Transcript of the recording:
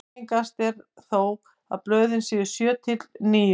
Algengast er þó að blöðin séu sjö til níu.